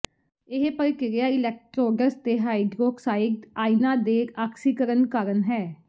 ਇਹ ਪ੍ਰਕ੍ਰਿਆ ਇਲੈਕਟ੍ਰੋਡਸ ਤੇ ਹਾਈਡ੍ਰੋਕਸਾਈਡ ਆਈਨਾਂ ਦੇ ਆਕਸੀਕਰਨ ਕਾਰਨ ਹੈ